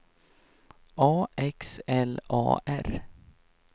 A X L A R